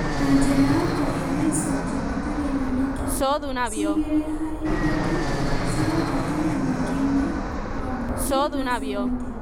Na njĩra ya kũgĩa na ĩcunjĩ itarĩ nyoneki cia igĩrĩ harĩ ithatũ cia ũhotani mũingĩ-inĩ wambunge na Seneti,